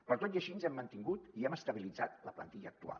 però tot i així ens hem mantingut i hem estabilitzat la plantilla actual